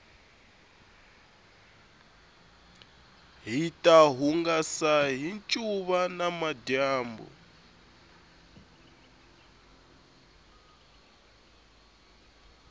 hita hungasa hi ncuva namadyambu